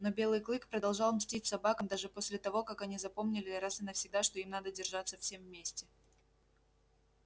но белый клык продолжал мстить собакам даже после того как они запомнили раз и навсегда что им надо держаться всем вместе